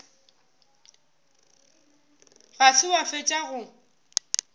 ga se wa fetša go